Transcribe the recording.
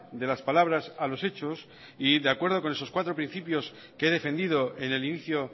de las palabras a los hechos y de acuerdo con esos cuatro principios que he defendido en el inicio